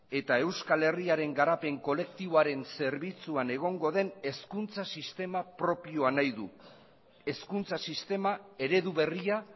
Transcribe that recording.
eta euskal herriaren garapen kolektiboaren zerbitzuan egongo den hezkuntza sistema propioa nahi du hezkuntza sistema eredu berria